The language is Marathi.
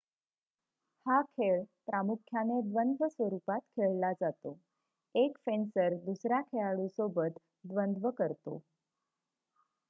हा खेळ प्रामुख्याने द्वंद्व स्वरूपात खेळला जातो 1 फेंसर दुसऱ्या खेळाडूसोबत द्वंद्व करतो